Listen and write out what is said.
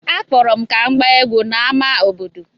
Akpọrọ m ka m gbaa egwú n’ámá obodo.